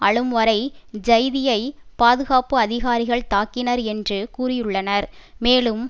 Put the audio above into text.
அழும் வரை ஜைதியை பாதுகாப்பு அதிகாரிகள் தாக்கினர் என்று கூறியுள்ளனர் மேலும்